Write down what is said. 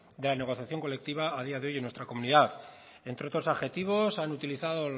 de la negociación colectiva a día de hoy en nuestra comunidad entre otros adjetivos han utilizado